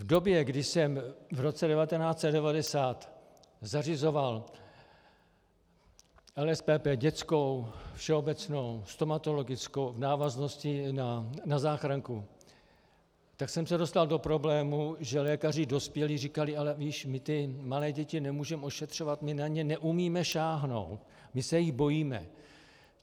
V době, kdy jsem v roce 1990 zařizoval LSPP dětskou, všeobecnou, stomatologickou v návaznosti na záchranku, tak jsem se dostal do problému, že lékaři dospělí říkali: Ale víš, my ty malé děti nemůžeme ošetřovat, my na ně neumíme sáhnout, my se jich bojíme.